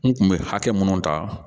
N kun be hakɛ minnu ta